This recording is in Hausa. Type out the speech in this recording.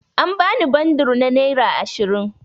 An bani bundur na naira ashirin.